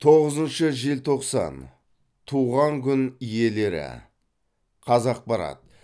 тоғызыншы желтоқсан туған күн иелері қазақпарат